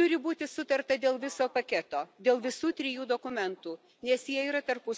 turi būti sutarta dėl viso paketo, dėl visų trijų dokumentų, nes jie yra tarpusavyje susiję.